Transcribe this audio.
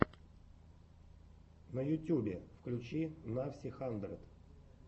на ютюбе включи навси хандрэд